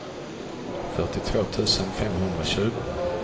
fyrtiotvå tusen femhundratjugo